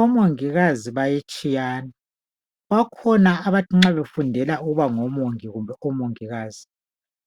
Omongikazi bayatshiyana bakhona abathi nxa befundela ukuba ngomongi kumbe omongikazi